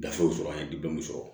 Gafew sɔrɔ an ye sɔrɔ